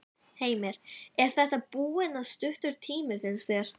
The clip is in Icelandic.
Heimir: Er þetta búinn að stuttur tími, finnst þér?